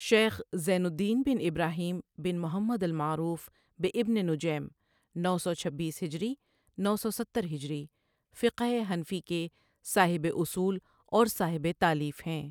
شیخ زین الدین بن ابراہيم بن محمد المعروف بابن نُجَيْم نو سو چھبیس ہجری نو سو سترہجری فقہ حنفی کے صاحب اصول اور صاحب تالیف ہیں